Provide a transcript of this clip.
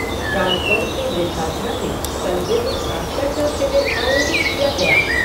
राजगढ़ के वृद्धाश्रम में कल विधिक साक्षरता शिविर आयोजित किया गया।